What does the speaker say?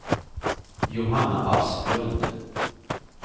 Johanna Asplund